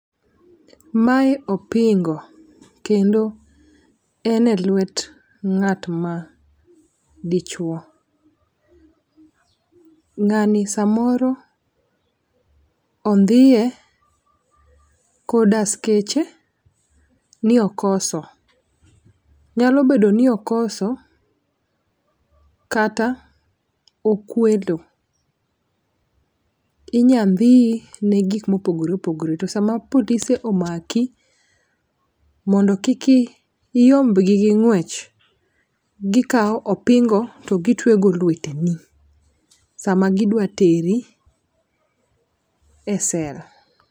Mae opingo kendo en e lwet ng'at ma dichuo. Ng'ani samoro ondhiye kod askeche ni okoso. Nyalo bedo ni okoso kata okwelo .Inya ndhiyi ne gik mopogore opogre to sama polise omaki mondo kik iyimbgi gi ng'wech, gikawo opingo to gitwe go lweteni sama gidwa teri e cell.